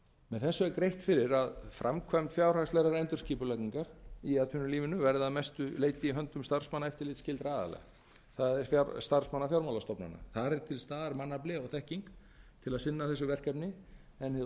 með þessu er greitt fyrir að framkvæmd fjárhagslegrar endurskipulagningar í atvinnulífinu verði að mestu leidd í starfsmanna eftirlitsskyldra aðila það er starfsmanna fjármálastofnana þar er til staðar mannafli og þekking til að sinna þessu verkefni en hið